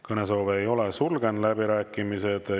Kõnesoove ei ole, sulgen läbirääkimised.